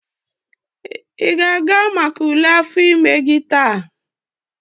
ị ga-aga maka ule afọ ime gị taa?